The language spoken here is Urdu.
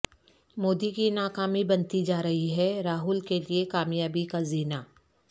مودی کی ناکامی بنتی جارہی ہے راہل کے لئے کامیابی کا زینہ